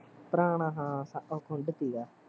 ਪੁਰਾਣਾ ਹਾਂ ਉਹ ਖੁੰਡ ਸੀਗਾ